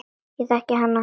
En ég þekki hana.